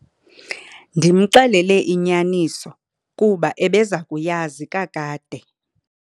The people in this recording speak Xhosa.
Ndimxelele inyaniso kuba ebeza kuyazi kakade.